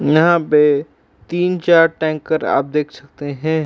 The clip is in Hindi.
यहाँ पे तीन-चार टैंकर आप देख सकते हैं।